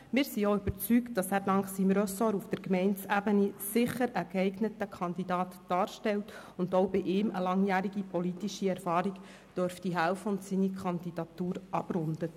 Wir sind überzeugt, dass er dank seines Ressorts auf Gemeindeebene einen geeigneten Kandidaten darstellt und ihm seine langjährige politische Erfahrung helfen dürfte, seine Kandidatur abzurunden.